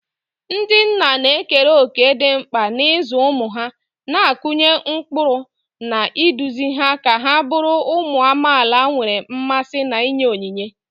Ndị nna na-ekere òkè dị mkpa n'ịzụ ụmụ ha, na-akụnye ụkpụrụ, na iduzi ha ka ha bụrụ ụmụ amaala nwere mmasị na inye onyinye.